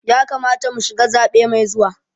Ya kamata mu shiga zaɓe mai zuwa.